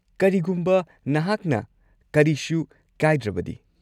ꯀꯔꯤꯒꯨꯝꯕ ꯅꯍꯥꯛꯅ ꯀꯔꯤꯁꯨ ꯀꯥꯏꯗ꯭ꯔꯕꯗꯤ꯫